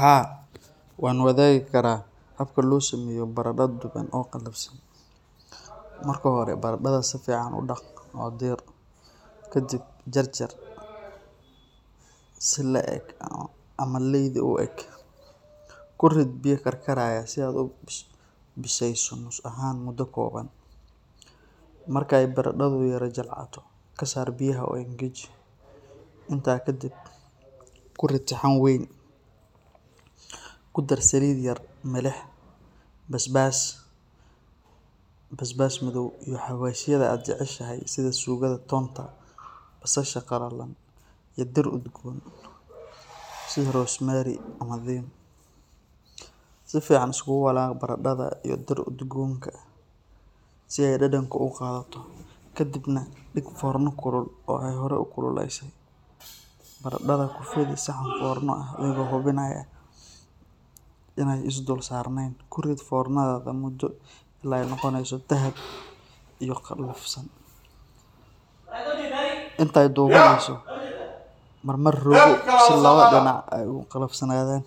Haa, waan wadaagi karaa habka loo sameeyo baradho duban oo qalafsan. Marka hore, baradhada si fiican u dhaq oo diir. Kadib, jarjar si le’eg ama leydi u eg. Ku rid biyo karkaraya si aad u bisayso nus ahaan muddo kooban. Marka ay baradhadu yara jilcato, ka saar biyaha oo engeji. Intaa ka dib, ku rid saxan weyn, ku dar saliid yar, milix, basbaas madow, iyo xawaashyada aad jeceshahay sida suugada toonta, basasha qalalan, iyo dhir udgoon sida rosemary ama thyme. Si fiican iskugu walaaq baradhada iyo dhir udgoonka si ay dhadhanka u qaadato. Ka dibna, dhig foorno kulul oo aad horay u kululeysay. Baradhada ku fidi saxan foorno ah adigoo hubinaya inaanay is dul saarnayn. Ku rid foornada muddo ilaa ay ka noqonayso dahabi iyo qalafsan. Intay dubanayso, mar mar rogo si labada dhinac ay u qalafsanaadaan.